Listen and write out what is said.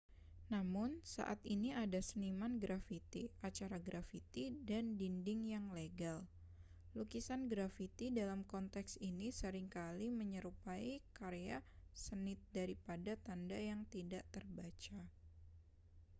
"namun saat ini ada seniman grafiti acara grafiti dan dinding yang legal . lukisan grafiti dalam konteks ini sering kali lebih menyerupai karya seni daripada tanda yang tidak terbaca.